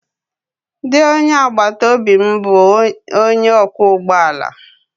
Di onye agbataobi m bụ onye ọkwọ ụgbọ ala